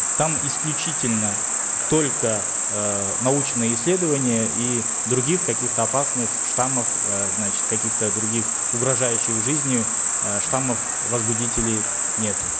там исключительно только э научные исследования и других каких то опасных штаммов э значит каких то других угрожающих жизни э штаммов возбудителей нету